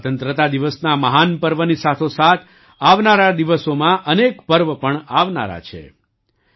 સ્વતંત્રતા દિવસના મહાન પર્વની સાથોસાથ આવનારા દિવસોમાં અનેક પર્વ પણ આવનારા છે